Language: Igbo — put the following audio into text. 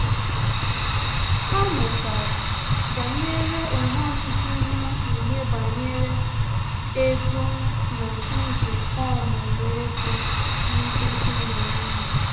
Ha mụtara banyere ughọm dị na mkpughe banyere ego na nzukọ ọmụmụ ego ndị dị na nwunye